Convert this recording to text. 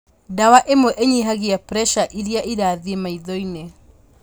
Dawa ĩmwe inyihagia preca ĩrĩa ĩrathiĩ maitho-inĩ